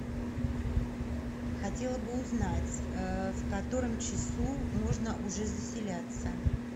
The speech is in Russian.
хотела бы узнать в котором часу можно уже заселяться